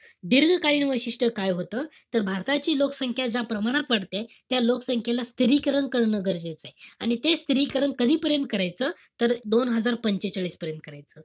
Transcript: दीर्घकालीन वैशिष्ट्य काय होतं? तर भारताची लोकसंख्या ज्या प्रमाणात वाढतेय, त्या लोकसंख्येला स्थिरीकरण करणं गरजेचंय. आणि ते स्थिरीकरण कधीपर्यंत करायचं? तर दोन हजार पंचेचाळीस पर्यन्त करायचं.